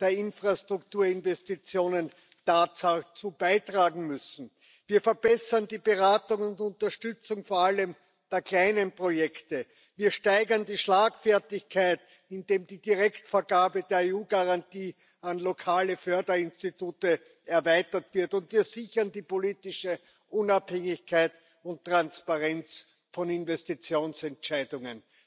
der Infrastrukturinvestitionen dazu beitragen müssen. Wir verbessern die Beratung und Unterstützung vor allem bei kleinen Projekten, wir steigern die Schlagfertigkeit, indem die Direktvergabe der EU Garantie an lokale Förderinstitute erweitert wird, und wir sichern die politische Unabhängigkeit und Transparenz von Investitionsentscheidungen.